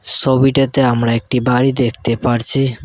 সবিটাতে আমরা একটি বাড়ি দেখতে পারছি।